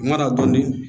Mana don